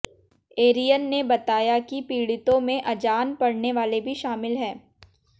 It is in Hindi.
एरियन ने बताया की पीड़ितों में अजान पढ़ने वाले भी शामिल हैं